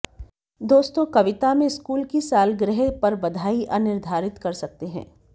दोस्तों कविता में स्कूल की सालगिरह पर बधाई अनिर्धारित कर सकते हैं